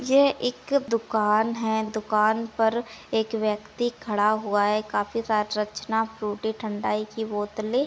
यह एक दुकान हैं। दुकान पर एक व्यक्ति खड़ा हुआ हैं काफी राज रचना फ्रूटी ठंडाई की बोतले --